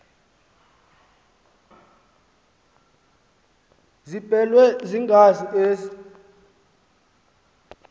ziblelwe yingazi ezi